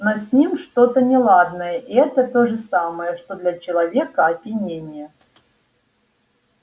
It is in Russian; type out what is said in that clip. но с ним что то неладное и это то же самое что для человека опьянение